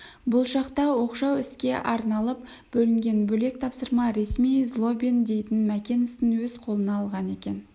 бұл шақта оқшау іске арналып бөлінген бөлек тапсырма ресми злобин дейтін мәкен ісін өз қолына алған екен